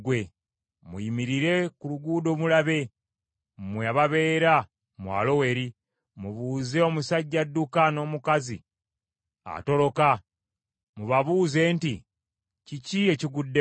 Muyimirire ku luguudo mulabe, mmwe ababeera mu Aloweri. Mubuuze omusajja adduka, n’omukazi atoloka, mubabuuze nti, ‘Kiki ekiguddewo?’